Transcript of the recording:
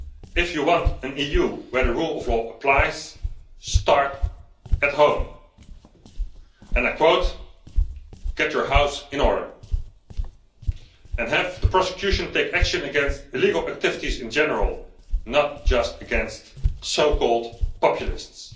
If you want an EU where the rule of law applies, start at home. And I quote get your house in order', and have the prosecution take action against illegal activities in general, not just against so called populists.